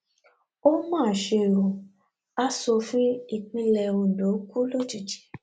ó mà ṣe ó asòfin ìpínlẹ ondo kú lójijì